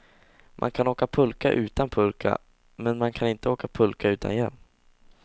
Man kan åka pulka utan pulka, men man kan inte åka pulka utan hjälm.